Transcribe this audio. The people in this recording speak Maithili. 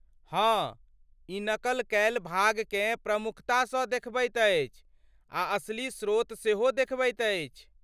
हँ, ई नकल कयल भागकेँ प्रमुखतासँ देखबैत अछि आ असली स्रोत सेहो देखबैत अछि।